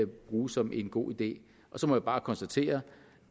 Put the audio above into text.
bruge som en god idé så må jeg bare konstatere